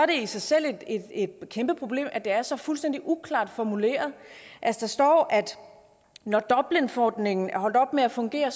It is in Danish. det i sig selv et kæmpe problem at det er så fuldstændig uklart formuleret der står at når dublinforordningen er holdt op med at fungere